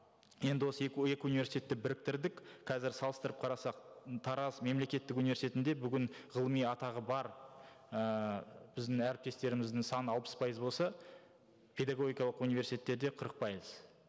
енді осы екі екі университетті біріктірдік қазір салыстырып қарасақ тараз мемлекеттік университетінде бүгін ғылыми атағы бар ыыы біздің әріптестеріміздің саны алпыс пайыз болса педагогикалық университеттерде қырық пайыз